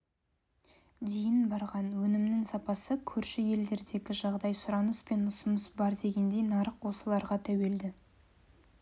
дейін барған өнімнің сапасы көрші елдердегі жағдай сұраныс пен ұсыныс бар дегендей нарық осыларға тәуелді